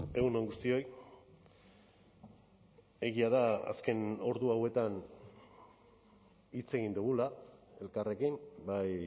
egun on guztioi egia da azken ordu hauetan hitz egin dugula elkarrekin bai